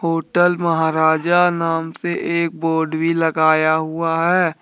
Hotel Maharaja नाम से एक बोर्ड भी लगाया हुआ है।